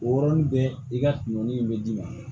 O yɔrɔnin bɛɛ i ka kungo in bɛ d'i ma